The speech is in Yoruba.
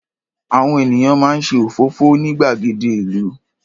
Àwọn ènìyàn máa ń ṣe òfófó ní gbàgede ìlú.